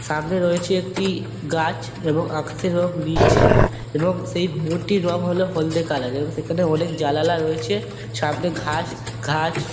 সামনে রয়েছে একটি গাছ এবং আকাশের রং নীলচে এবং সেই মন্টির রং হলো হলদে কালার এর এবং সেখানে অনেক জালালা রয়েছে এবং সামনে ঘাস ঘাস--